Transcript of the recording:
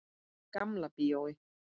Gamla bíói.